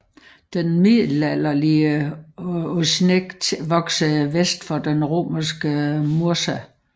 Den middelalderlige Osijek voksede vest for den romerske Mursa